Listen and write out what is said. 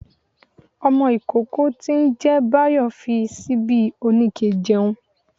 Ọmọ ikókó tí n jẹ báyó fí síbi oníkẹ̀ jẹun